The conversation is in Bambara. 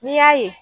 N'i y'a ye